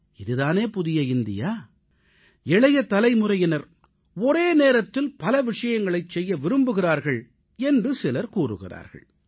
இது தானே புதிய இந்தியா இளைய தலைமுறையினர் ஒரே நேரத்தில் பல விஷயங்களைச் செய்ய விரும்புகிறார்கள் என்று சிலர் கூறுகிறார்கள்